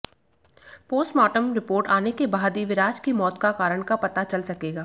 postmortem report आने के बाद ही विराज की मौत का कारण पता चल सकेगा